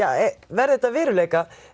verði þetta að veruleika